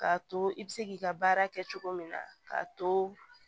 K'a to i bɛ se k'i ka baara kɛ cogo min na k'a to